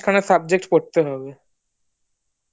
subject করতে হবে